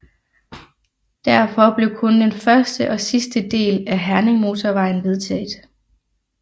Derfor blev kun den første og sidste del af Herningmotorvejen vedtaget